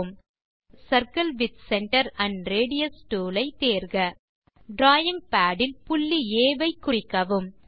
tool bar இலிருந்து circle with centre and radius tool ஐ தேர்க டிராவிங் பாட் இல் புள்ளி ஆ ஐ குறிக்கவும்